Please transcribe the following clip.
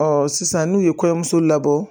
sisan n'u ye kɔɲɔmuso labɔ